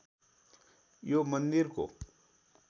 यो मन्दिरको